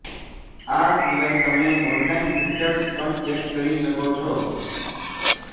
આ સીવાય તમે ઓનલાઈન ફિચર્સ પણ ચેક કરી શકો છો